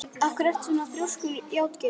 Af hverju ertu svona þrjóskur, Játgeir?